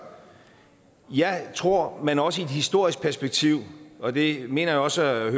jeg tror at man også i et historisk perspektiv og det mener jeg også at